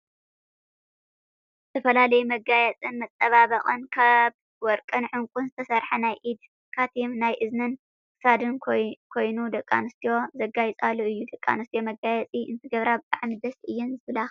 ዝተፈላለዩ መጋየፅን መፀባበቅን ካብ ወርቅን ዕንቁን ዝተሰረሓ ናይ ኢድ ካቲምን ናይ እዝንን ክሳድን ኮይኑ ደቂ ኣንስትዮ ዘጋይፃሉ እዩ። ደቂ ኣንስትዮ መጋየፂ እንትገብራ ብጣዕሚ ደስ እየን ዝብላካ።